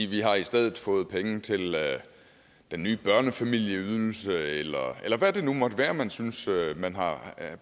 vi har i stedet fået penge til den nye børnefamilieydelse eller hvad det nu måtte være man synes man har